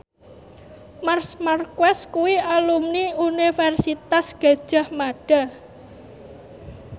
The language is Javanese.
Marc Marquez kuwi alumni Universitas Gadjah Mada